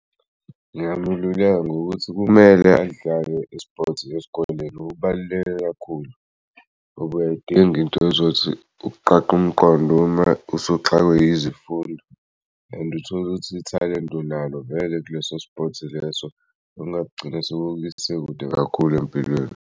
Ngingamululeka ngokuthi kumele alidlale i-sports esikoleni kubaluleke kakhulu ngoba uyayidinga into ezothi ukuqaqa umqondo uma usuxakwe izifundo and uthole ukuthi ithalente onalo vele kuleso-sport leso okungagcina sekukuse kude kakhulu empilweni.